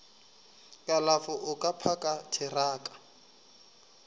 kalafo o ka phaka theraka